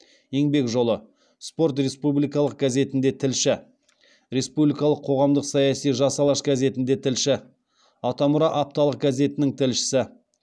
еңбек жолы спорт республикалық газетінде тілші республикалық қоғамдық саяси жас алаш газетінде тілші атамұра апталық газетінің тілшісі